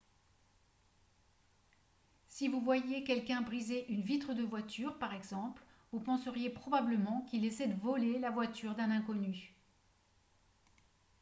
si vous voyiez quelqu'un briser une vitre de voiture par exemple vous penseriez probablement qu'il essaie de voler la voiture d'un inconnu